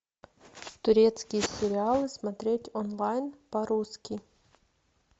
турецкие сериалы смотреть онлайн по русски